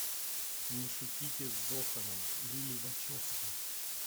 не шутите с зоханом лилли вачовски